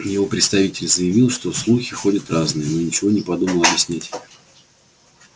его представитель заявил что слухи ходят разные но ничего и не подумал объяснять